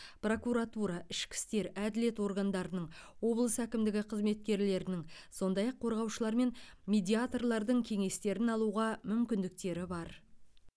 прокуратура ішкі істер әділет органдарының облыс әкімдігі қызметкерлерінің сондай ақ қорғаушылар мен медиаторлардың кеңестерін алуға мүмкіндіктері бар